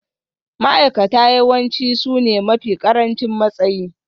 Ma'aikata yawanci sune mafi ƙarancin matsayi